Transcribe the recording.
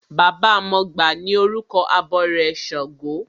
Baba mọgbà ni orúkọ abọrẹ̀ ṣàngó.